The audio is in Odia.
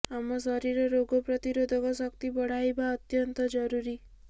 ଆମ ଶରୀରର ରୋଗ ପ୍ରତିରୋଧକ ଶକ୍ତି ବଢାଇବା ଅତ୍ୟନ୍ତ ଜରୁରୀ